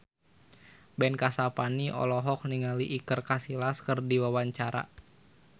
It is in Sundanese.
Ben Kasyafani olohok ningali Iker Casillas keur diwawancara